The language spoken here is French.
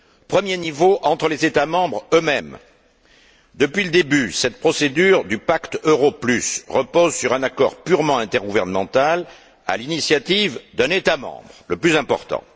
Premier niveau entre les États membres eux mêmes. Depuis le début, cette procédure du pacte euro plus repose sur un accord purement intergouvernemental, à l'initiative d'un État membre, le plus important.